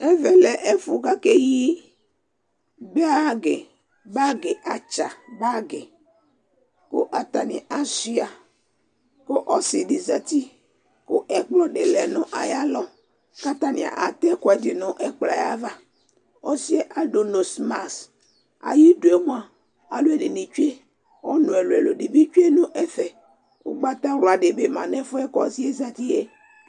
Ɛvɛ ɛfʋ kʋ akeyi bagɩ Bagɩ atsa bagɩ kʋ atanɩ asʋɩa kʋ ɔsɩ dɩ zati kʋ ɛkplɔ dɩ lɛ nʋ ayalɔ kʋ atanɩ atɛ ɛkʋɛdɩ nʋ ɛkplɔ yɛ ava Ɔsɩ yɛ adʋ nosmas Ayidu yɛ mʋa, alʋɛdɩnɩ tsue Ɔnʋ ɛlʋ-ɛlʋ dɩ bɩ tsue nʋ ɛfɛ Ʋgbatawla dɩ bɩ ma nʋ ɛfʋ yɛ kʋ ɔsɩ yɛ zati yɛ